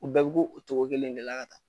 U bɛɛ bo go o cogo kelen in de la ka taa.